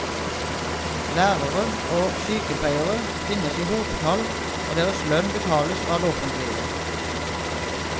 Lærere og sykepleiere finnes i hopetall og deres lønn betales av det offentlige.